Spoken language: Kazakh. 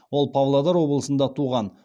ол павлодар облысында туған